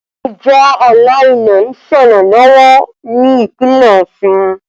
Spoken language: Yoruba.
Ìjà ààlà ilẹ̀ ń ṣẹlẹ̀ lọ́wọ́ ní Ìpínlẹ̀ Ọ̀ṣun